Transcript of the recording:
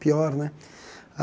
Pior, né?